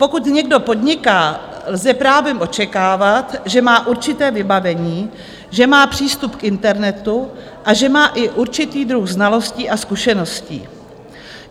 Pokud někdo podniká, lze právem očekávat, že má určité vybavení, že má přístup k internetu a že má i určitý druh znalostí a zkušeností.